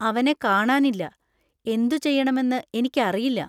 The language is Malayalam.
അവനെ കാണാനില്ല, എന്തുചെയ്യണമെന്ന് എനിക്കറിയില്ല.